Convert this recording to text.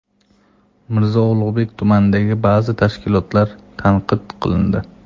Mirzo Ulug‘bek tumanidagi ba’zi tashkilotlar tanqid qilindi.